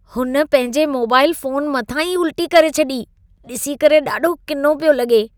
हुन पंहिंजे mobile phone मथां ई उल्टी करे छॾी। ॾिसी करे ॾाढो किनो पियो लॻे।